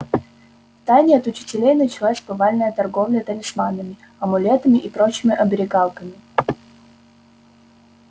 в тайне от учителей началась повальная торговля талисманами амулетами и прочими оберегалками